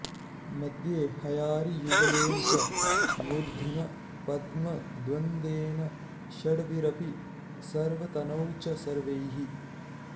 मध्ये हयारियुगलेन च मूर्ध्नि पद्म द्वन्द्वेन षड्भिरपि सर्वतनौ च सर्वैः